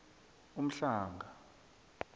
umhlanga